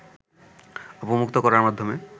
অবমুক্ত করার মাধ্যমে